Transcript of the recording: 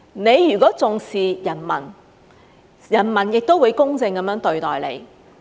你如果重視人民，人民亦會公正地對待你。